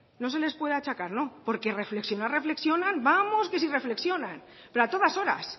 no se les puede achacar porque reflexionar reflexionan vamos que si reflexionan pero a todas horas